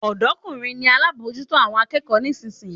Odomokunrin ni alábòójútó àwọn akẹ́kọ̀ọ́ nísinsìnyí.